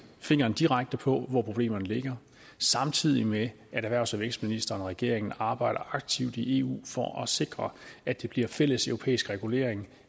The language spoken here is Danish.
fingeren direkte på hvor problemerne ligger samtidig med at erhvervs og vækstministeren og regeringen arbejder aktivt i eu for at sikre at der bliver en fælleseuropæisk regulering